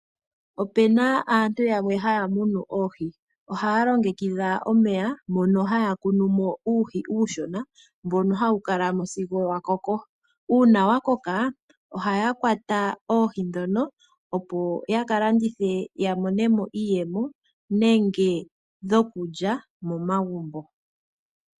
Opena aantu yamwe haya munu oohi ohaya longekidha omeya mono haya tulamo uuhi uushona mbono hawu kala mo sigo wakoko. Uuna wakoka ohayedhi kwatamo opo yakalandithe yamonemo iiyemo nenge dhokulya momagumbo.